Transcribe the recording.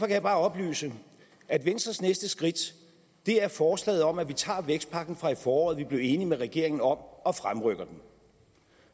jeg bare oplyse at venstres næste skridt er forslaget om at vi tager vækstpakken fra i foråret som vi blev enige med regeringen om og fremrykker